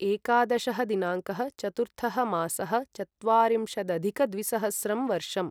एकादशः दिनाङ्कः चतुर्थः मासः चत्वारिंशदधिकद्विसहस्रं वर्षम्